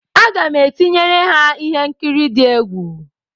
Aga m etinyere ha ihe nkiri di egwu.